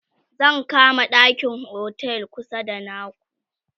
zan kama ɗakin otel kusa da naku